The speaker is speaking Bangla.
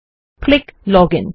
click login